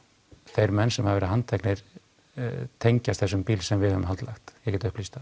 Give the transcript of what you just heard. þeir menn sem hafa verið handteknir tengjast þessum bíl sem við höfum haldlagt ég get upplýst það